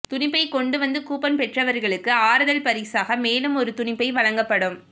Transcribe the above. துணிப்பை கொண்டு வந்து கூப்பன் பெற்றவர்களுக்கு ஆறுதல் பரிசாக மேலும் ஒரு துணிப்பை வழங்கப்படும்